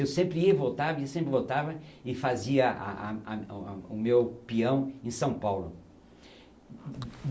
Eu sempre ia e voltava, ia sempre e voltava e fazia a a a, o meu peão em São Paulo.